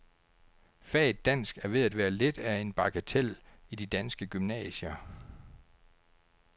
Faget dansk er ved at være lidt af en bagatel i de danske gymnasier.